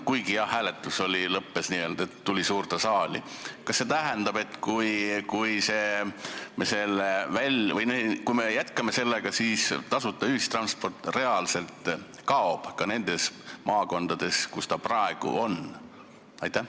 Kui me jätkame selle menetlust, siis kas see tähendab, et tasuta ühistransport reaalselt kaob ka nendest maakondadest, kus ta praegu on?